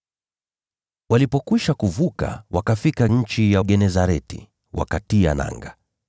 Walipokwisha kuvuka, wakafika nchi ya Genesareti, wakatia nanga.